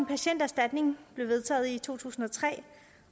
patienterstatningen blev vedtaget i to tusind og tre